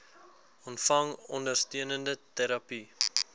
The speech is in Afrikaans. ontvang ondersteunende terapie